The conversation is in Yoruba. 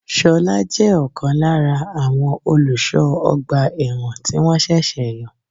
Ṣolá jẹ́ ọ̀kan lára àwọn olùsọ ọgbà ẹ̀wọ̀n tí wọn ṣẹ̀ṣẹ̀ yàn.